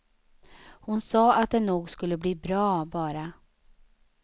Hon sa att det nog skulle bli bra, bara.